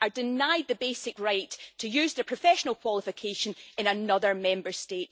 are denied the basic right to use their professional qualification in another Member State.